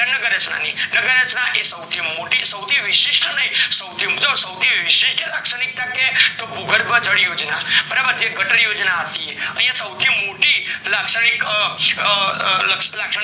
નગર રચના ની નગર રચના એ સૌથી મોતી અને સૌથી વિશિષ્ઠ અને સૌથી વિશિષ્ઠ, તો ભૂગોળ પર ચડીએ બરોબર એ ગટર યોજના હતી સૌથી મોટી લાગ્શાનીક એ અ અ અ નગર અચના